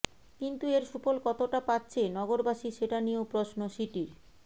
কিন্তু এর সুফল কতটা পাচ্ছে নগরবাসী সেটা নিয়েও প্রশ্ন সিটির